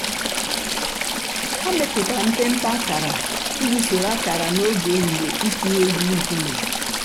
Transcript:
hà mẹpùtárà mpémpé àkárà íjì sòrò àkárà n'ògè èhìhìè’s ị̀tụ̀ ègwù ńkùmé̀.